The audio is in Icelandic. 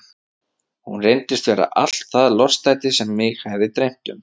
Hún reyndist vera allt það lostæti sem mig hafði dreymt um.